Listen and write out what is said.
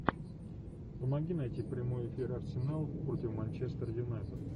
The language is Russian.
помоги найти прямой эфир арсенал против манчестер юнайтед